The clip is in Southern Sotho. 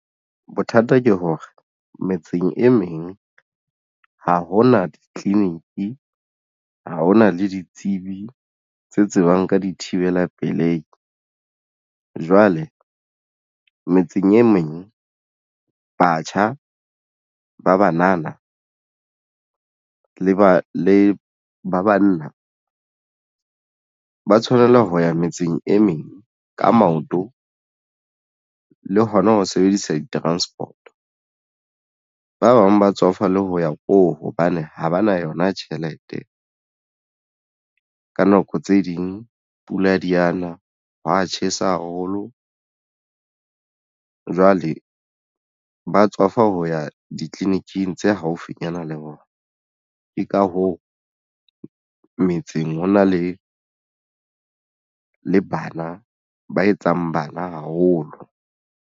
Bothata ke hore metseng e meng ha hona di-clinic ha hona le ditsebi tse tsebang ka dithibela pelehi jwale metseng e meng batjha ba banana le ba le ba banna ba tshwanela ho ya metseng e meng ka maoto le hona ho sebedisa di-transport-o ba bang ba tswafa le ho ya ko hobane ha ba na yona tjhelete. Ka nako tse ding pula di ana hwa tjhesa haholo jwale ba tswafa ho ya di-clinic-ing tse haufinyana le bona ke ka hoo metseng ho na le bana ba etsang bana haholo.